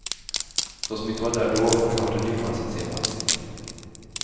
De som inte var där då får snart en ny chans att se bandet.